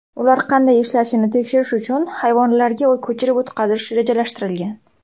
Ular qanday ishlashini tekshirish uchun hayvonlarga ko‘chirib o‘tkazish rejalashtirilgan.